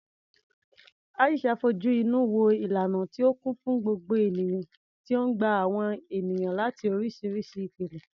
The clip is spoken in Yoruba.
Aisha fojú inú wo ìlànà tí ó kún fún gbogbo ènìyàn tí ó ń gba àwọn ènìyàn láti oríṣiríṣi ìpìlẹ̀.